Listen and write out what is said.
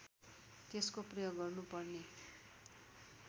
त्यसको प्रयोग गर्नुपर्ने